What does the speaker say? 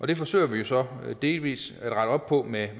det forsøger vi så delvis at rette op på med